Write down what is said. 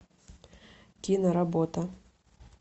киноработа